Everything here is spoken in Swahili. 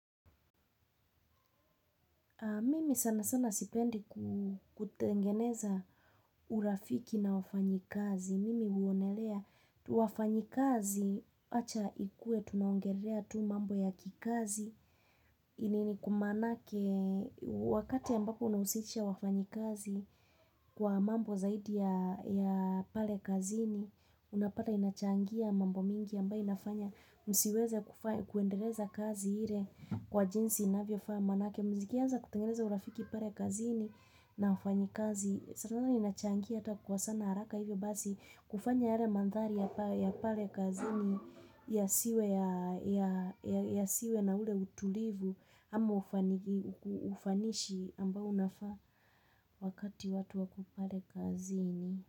Mimi sana sana sipendi kutengeneza urafiki na wafanyikazi. Mimi uonelea wafanyikazi wacha ikue tunaongelea tu mambo ya kikazi. Ini ni kumanake wakati ambapo unawusisha wafanyikazi kwa mambo zaidi ya pale kazini. Unapata inachangia mambo mingi ambayo inafanya. Msiweze kuendeleza kazi hile kwa jinsi inavyofaa manake. Ukianza kutengeneza urafiki pale kazini na wafanyikazi. Sanana inachangia hata kwa sana haraka hivyo basi kufanya yale mandhari ya pale kazini yasiwe na ule utulivu ama ufanishi ambao unafa wakati watu wako pale kazini.